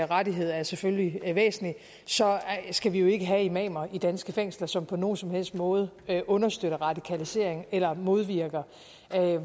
rettighed er selvfølgelig væsentlig så skal vi jo ikke have imamer i danske fængsler som på nogen som helst måde understøtter radikalisering eller modvirker